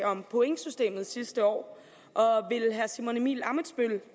om pointsystemet sidste år og vil herre simon emil ammitzbøll